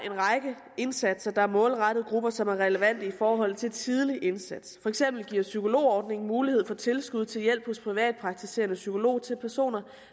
en række indsatser der er målrettet grupper som er relevante i forhold til en tidlig indsats for eksempel giver psykologordningen mulighed for tilskud til hjælp hos privatpraktiserende psykolog til personer